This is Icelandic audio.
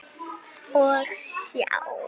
Og sjá!